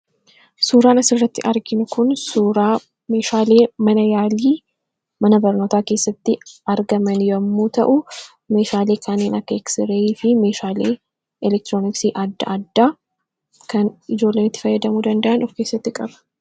Suuraa kanaa gadii irraa kan mul'atu suuraa meeshaalee yaalii mana barnootaa keessatti argamu yammuu ta'u; meeshaalee kaneen akka raajii ittiin kaa'anii fi meeshaalee elektirooniksii adddaa addaa kan of keessatti qabu dha.